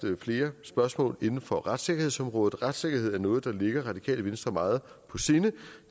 flere spørgsmål inden for retssikkerhedsområdet retssikkerhed er noget der ligger radikale venstre meget på sinde